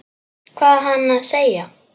Hvað á hann að segja?